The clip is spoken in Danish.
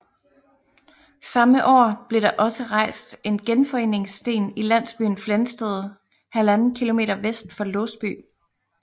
Samme år blev der også rejst en genforeningssten i landsbyen Flensted 1½ km vest for Låsby